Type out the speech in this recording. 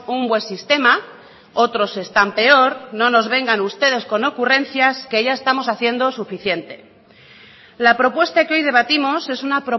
un buen sistema otros están peor no nos vengan ustedes con ocurrencias que ya estamos haciendo suficiente la propuesta que hoy debatimos es una